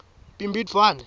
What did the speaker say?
bhimbidvwane